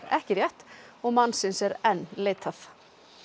ekki rétt og mannsins er enn leitað